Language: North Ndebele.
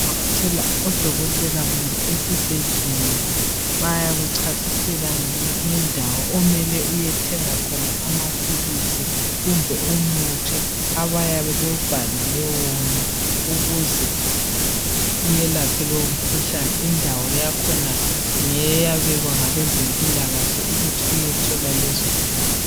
Ukuvakatshela odokotela kumbe esibhedlela bayakuchasisela ngendawo omele uyethenga khona amaphilisi kumbe umuthi abayabe bewubhalele wona ukuze uyelaphe lowo mkhuhlane indawo yakhona ngeyabekwa ngabezempilakahle ukuthi uyethola lezo zinto.